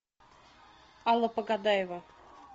алла погодаева